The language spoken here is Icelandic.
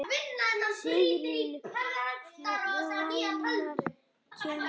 Sigurlína, hvenær kemur leið númer fjörutíu og þrjú?